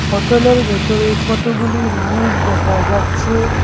হোটেলের ভেতরে কতগুলি মানুষ দেখা যাচ্ছে।